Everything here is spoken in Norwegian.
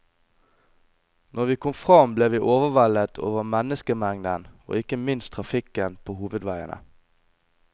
Når vi kom fram ble vi overveldet over menneskemengden og ikke minst trafikken på hovedveiene.